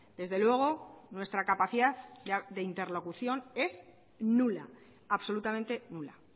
desde luego nuestra capacidad de interlocución es nula absolutamente nula